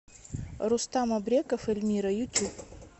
рустам абреков эльмира ютюб